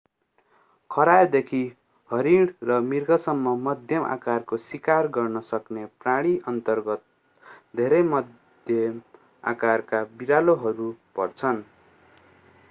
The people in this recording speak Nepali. खरायोदेखि हरिण र मृगसम्म मध्यम आकारको सिकार गर्न सक्ने प्राणीअन्तर्गत धेरै मध्यम आकारका बिरालोहरू पर्छन्